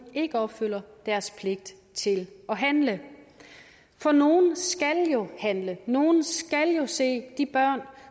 ikke opfylder deres pligt til at handle for nogle skal jo handle nogle skal jo se de børn